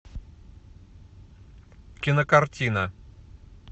кинокартина